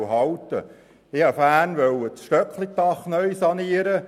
Im letzten Jahr wollte ich mein «Stöcklidach» sanieren.